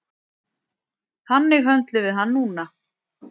Þannig höndlum við hann núna